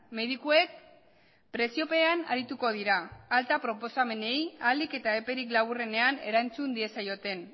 medikuek presiopean arituko dira alta proposamenei ahalik eta eperik laburrenean erantzun diezaioten